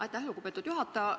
Aitäh, lugupeetud juhataja!